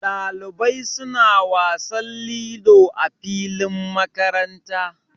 Dalibai suna wasan lilo a filin makaranta.